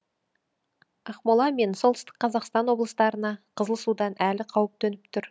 ақмола мен солтүстік қазақстан облыстарына қызыл судан әлі қауіп төніп тұр